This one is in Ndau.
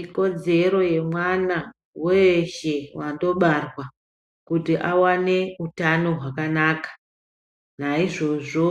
Ikodzero yemwana weshe atobarwa kuti awane hutano hwakanaka naizvozvo